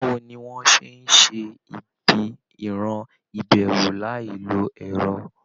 Báwo ni wọ́n á ṣe ṣe ibi ìran ìbẹ̀rù láì lo ẹ̀rọ?